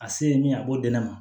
A se ye min ye a b'o di ne ma